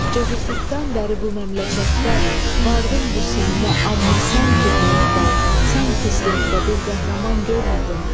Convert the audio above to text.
Çocukluqdan bəri bu məmləkətdə vardım bu sinnə, amma sən fitrətdə, sən xislətdə bir qəhrəman görmədim.